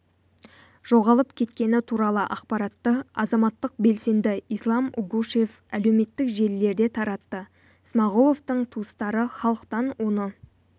жоғалып кеткені туралы ақпаратты азаматтық белсенді ислам угушев әлеуметтік желілерде таратты смағұловтың туыстары халықтан оны